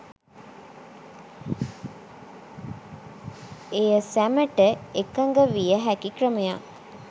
එය සැමට එකඟවිය හැකි ක්‍රමයක්